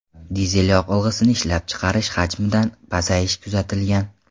Dizel yoqilg‘isini ishlab chiqarish hajmida ham pasayish kuzatilgan.